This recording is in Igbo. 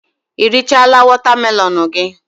I richala wotamelon gi?